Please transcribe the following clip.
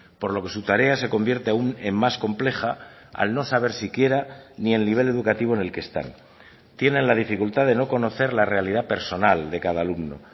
por lo que su tarea se convierte aun en más compleja al no saber siquiera ni el nivel educativo en el que están tienen la dificultad de no conocer la realidad personal de cada alumno